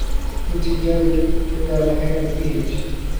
Ku tijaabi ciiddaada heerka pH.